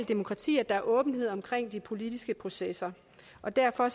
demokrati at der er åbenhed om de politiske processer og derfor